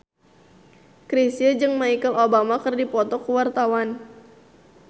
Chrisye jeung Michelle Obama keur dipoto ku wartawan